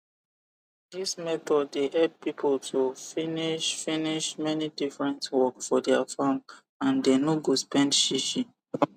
this method dey help people to finish finish many different work for their farm and they no go spend shishi